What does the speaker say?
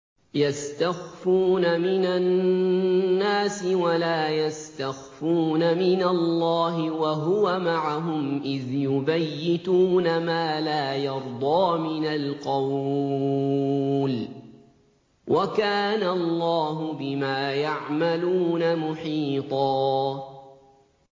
يَسْتَخْفُونَ مِنَ النَّاسِ وَلَا يَسْتَخْفُونَ مِنَ اللَّهِ وَهُوَ مَعَهُمْ إِذْ يُبَيِّتُونَ مَا لَا يَرْضَىٰ مِنَ الْقَوْلِ ۚ وَكَانَ اللَّهُ بِمَا يَعْمَلُونَ مُحِيطًا